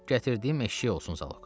Gətirdiyim eşşək olsun zalog.